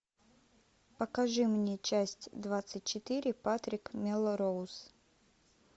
покажи мне часть двадцать четыре патрик мелроуз